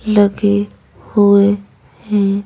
लगे हुए हैं।